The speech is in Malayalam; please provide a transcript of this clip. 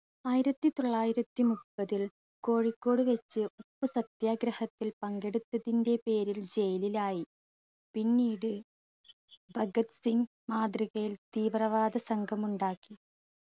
ആയിരത്തി തൊള്ളായിരത്തി മുപ്പതിൽ കോഴിക്കോട് വെച്ച് ഉപ്പു സത്യാഗ്രഹത്തിൽ പങ്കെടുത്തതിന്റെ പേരിൽ jail ൽ ആയി. പിന്നീട് ഭഗത് സിംഗ് മാതൃകയിൽ തീവ്രവാദ സംഗമുണ്ടാക്കി.